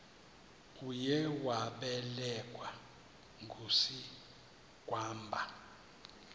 uye wabelekwa ngusigwamba